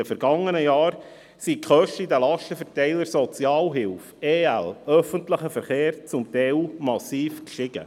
In den vergangenen Jahren sind die Kosten in den Lastenverteilern Sozialhilfe, Ergänzungsleistungen, öffentlicher Verkehr zum Teil massiv gestiegen.